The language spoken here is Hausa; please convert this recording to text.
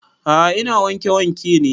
A'a ina wanke wanke ne